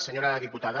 senyora diputada